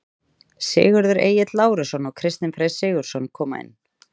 Sigurður Egill Lárusson og Kristinn Freyr Sigurðsson koma inn.